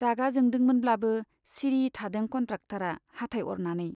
रागा जोंदोंमोनब्लाबो सिरि थादों कन्ट्राक्टरा हाथाइ अरनानै।